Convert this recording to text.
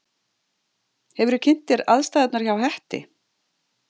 Hefurðu kynnt þér aðstæðurnar hjá Hetti?